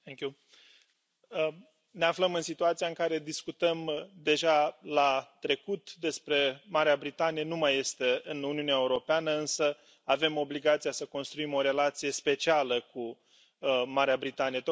Doamna președintă, ne aflăm în situația în care discutăm deja la trecut despre Marea Britanie, care nu mai este în Uniunea Europeană, însă avem obligația să construim o relație specială cu Marea Britanie.